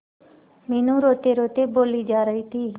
मीनू रोतेरोते बोली जा रही थी